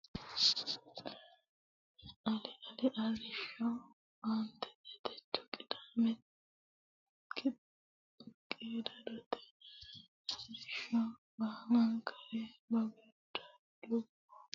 Ali Ali Arrishsho Aantete Techo qiidootta arrishsho Balekkira babada lu buu buu yiinona Aantete Hooleemmo hooleemmo yuummoro Ga meemmo ga meemmo yiinnona Ali.